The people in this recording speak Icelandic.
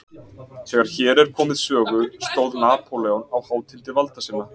Þegar hér er komið sögu stóð Napóleon á hátindi valda sinna.